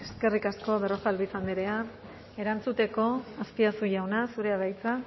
eskerrik asko berrojalbiz andrea erantzuteko azpiazu jauna zurea da hitza